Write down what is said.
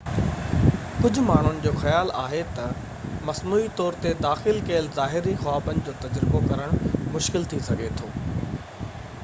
ڪجهہ ماڻهن جو خيال آهي تہ مصنوعي طور تي داخل ڪيل ظاهري خوابن جو تجربو ڪرڻ مشڪل ٿي سگهي ٿو